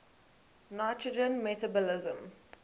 nitrogen metabolism